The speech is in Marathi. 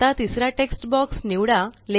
आता तिसरा टेक्स्ट बॉक्स निवडा